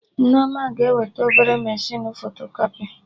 Nneoma ga-eweta obere mechinu fotokọpị